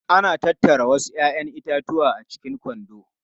Ana tattara wasu 'ya'yan itatuwa a cikin kwando.